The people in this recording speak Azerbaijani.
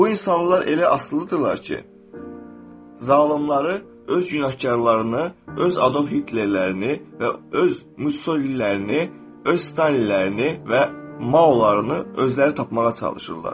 Bu insanlar elə asılıdırlar ki, zalımları, öz günahkarlarını, öz Adolf Hitlerlərini və öz Mussolinilərini, öz Stalinlərini və Maolarını özləri tapmağa çalışırlar.